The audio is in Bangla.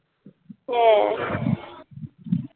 হ্যাঁ